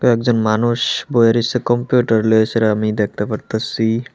একজন মানুষ বয়ে রয়েছে কম্পিউটার লয়ে সেটা আমি দেখতে পারতাচ্ছি ।